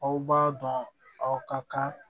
Aw b'a dɔn aw ka kan